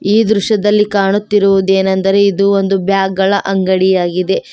ಈ ದೃಶ್ಯದಲ್ಲಿ ಕಾಣುತ್ತಿರುವದೆನೆಂದರೆ ಇದು ಒಂದು ಬ್ಯಾಗ್ ಗಳ ಅಂಗಡಿ ಆಗಿದೆ.